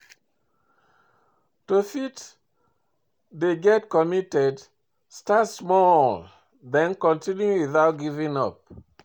To fit get dey committed, start small then continue without giving up